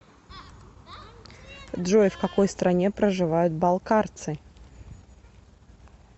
джой в какой стране проживают балкарцы